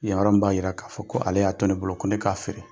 Yan yɔrɔ in b'a yira k'a fɔ ko ale y'a to ne bolo ko ne k'a feere.